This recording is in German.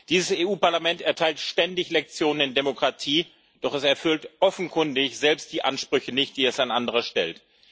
Dieses Europäische Parlament erteilt ständig Lektionen in Demokratie, doch es erfüllt offenkundig selbst die Ansprüche nicht, die es an andere stellt.